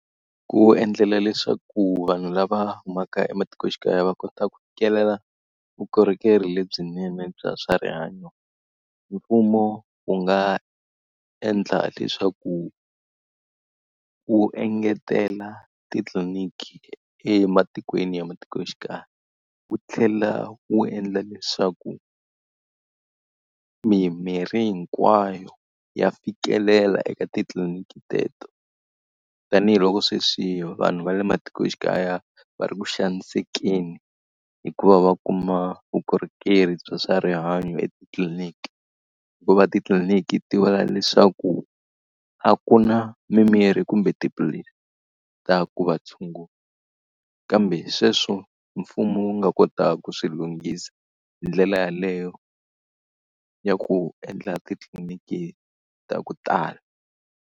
Ku endlela leswaku vanhu lava humaka ematikoxikaya va kota ku fikelela vukorhokeri lebyinene bya swa rihanyo, mfumo wu nga endla leswaku wu engetela titliliniki ematikweni ya matikoxikaya, wu tlhela wu endla leswaku mimirhi hinkwayo ya fikelela eka titliliniki teto. Tanihi loko sweswi vanhu va le matikoxikaya va ri ku xanisekeni hi ku va va kuma vukorhokeri bya swa rihanyo etitliliniki, hikuva titliliniki ti vula leswaku a ku na mimirhi kumbe tiphilisi ta ku va tshungula. Kambe sweswo mfumo wu nga kota ku swi lunghisa, hi ndlela yaleyo ya ku endla titliniki ta ku tala.